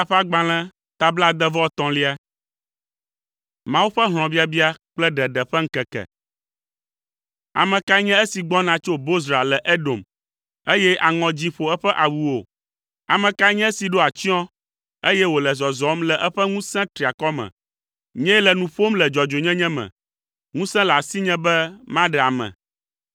Ame kae nye esi gbɔna tso Bozra le Edom, eye aŋɔ dzĩ ƒo eƒe awuwo? Ame kae nye esi ɖo atsyɔ̃, eye wòle zɔzɔm le eƒe ŋusẽ triakɔ me? “Nyee le nu ƒom le dzɔdzɔenyenye me. Ŋusẽ le asinye be maɖe ame.”